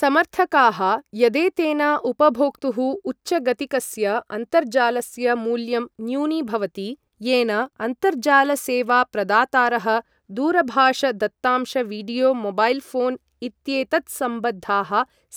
समर्थकाः यदेतेन उपभोक्तुः उच्चगतिकस्य अन्तर्जालस्य मूल्यं न्यूनीभवति, येन अन्तर्जाल सेवा प्रदातारः दूरभाष दत्तांश वीडियो मोबैल् ऴोन् इत्येतत्सम्बद्धाः